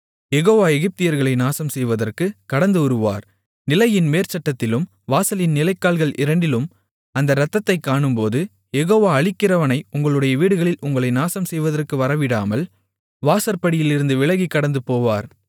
யெகோவா எகிப்தியர்களை நாசம் செய்வதற்குக் கடந்துவருவார் நிலையின் மேற்சட்டத்திலும் வாசலின் நிலைக்கால்கள் இரண்டிலும் அந்த இரத்தத்தைக் காணும்போது யெகோவா அழிக்கிறவனை உங்களுடைய வீடுகளில் உங்களை நாசம் செய்வதற்கு வரவிடாமல் வாசற்படியிலிருந்து விலகிக் கடந்துபோவார்